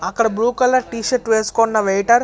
అక్కడ blue colour T-shirt వేసుకున్న waiter --